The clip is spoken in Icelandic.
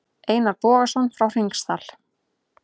Einar Bogason frá Hringsdal.